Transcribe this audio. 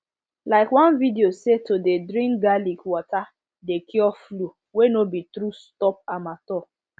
like one video say to de drink garlic water de cure flu wey no be true stop am all